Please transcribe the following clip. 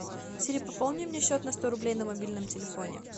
сири пополни мне счет на сто рублей на мобильном телефоне